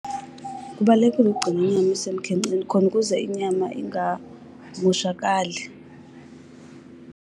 Kubalulekile ukugcina inyama isemkhenkceni khona ukuze inyama ingamoshakali.